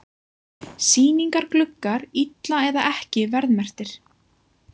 Sýningargluggar illa eða ekki verðmerktir